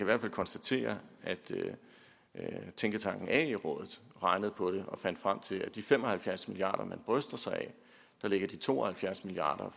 hvert fald konstatere at tænketanken ae rådet regnede på det og fandt frem til at af de fem og halvfjerds milliard kr man bryster sig af ligger de to og halvfjerds milliard